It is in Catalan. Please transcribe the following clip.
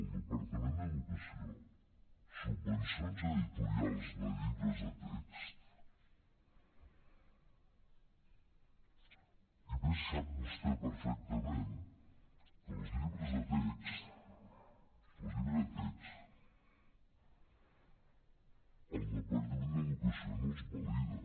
el departament d’educació subvencions a editorials de llibres de text i a més sap vostè perfectament que els llibres de text el departament d’educació no els valida